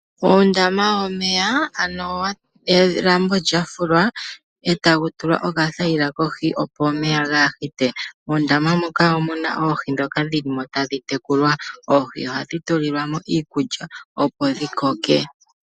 Oondama yomeya ano elambo lya fulwa etaku tulwa okathaila kohi opo omeya ga pite. Ondama moka omuna oohi dhoka dhili mo tadhi tekulwa, oohi ohadhi tulilwa mo iikulya opo dhi koke.